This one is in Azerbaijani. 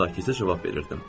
Sakitcə cavab verirdim.